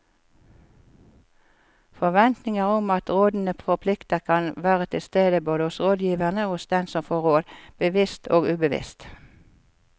Forventninger om at rådene forplikter kan være til stede både hos rådgiverne og hos den som får råd, bevisst og ubevisst.